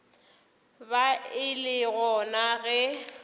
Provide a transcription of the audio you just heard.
ba e le gona ge